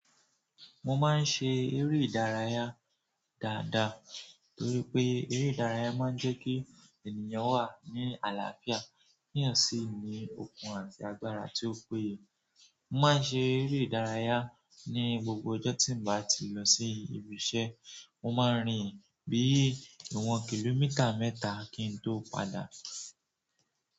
Mo máa ń ṣe eré ìdárayá dáadáa torí pé eré ìdárayá máa ń jẹ́ kí ènìyàn wà ní àlàáfíà. Ki eeyan sí ni okun àti agbára tí ó péye. Mo máa ń ṣe eré ìdárayá ní gbogbo ọjọ́ tí n bá ti lọ sí ibi iṣẹ́. Mo máa rìn bí i ìwọ̀n kìlómítà mẹ́ta kí n tó padà.